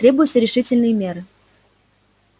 требуются решительные меры